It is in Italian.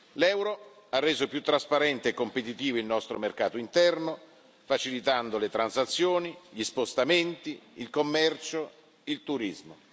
L'euro ha reso più trasparente e competitivo il nostro mercato interno, facilitando le transazioni, gli spostamenti, il commercio, il turismo.